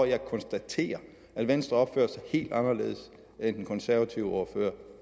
jeg konstaterer at venstre opfører sig helt anderledes end den konservative ordfører